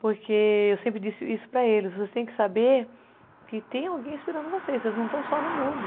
Porque eu sempre disse isso para eles, vocês têm que saber que tem alguém esperando vocês, vocês não estão só no mundo.